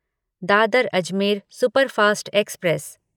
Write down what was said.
Dadar Ajmer superfast express